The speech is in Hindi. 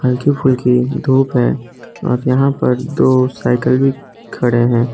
हल्की फुल्की धूप है और यहां पर दो साइकल भी खड़े हैं।